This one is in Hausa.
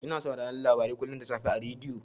Ina sauraron labarai kullun da safe a rediyo.